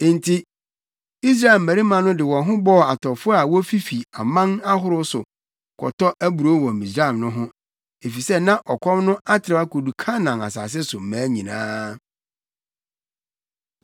Enti Israel mmabarima no de wɔn ho bɔɔ atɔfo a wofifi aman ahorow so kɔtɔ aburow wɔ Misraim no ho, efisɛ na ɔkɔm no atrɛw akodu Kanaan asase so mmaa nyinaa.